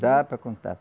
Dá para contar.